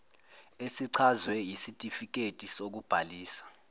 esichazwe yisitifiketi sokubhalisa